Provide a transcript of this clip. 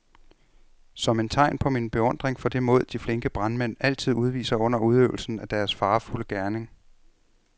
Som et tegn på min beundring for det mod, de flinke brandmænd altid udviser under udøvelsen af deres farefulde gerning.